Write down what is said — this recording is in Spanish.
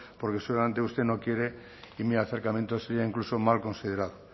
porque seguramente usted no quiere y mi acercamiento sería incluso mal considerado